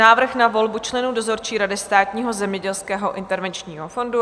Návrh na volbu členů dozorčí rady Státního zemědělského intervenčního fondu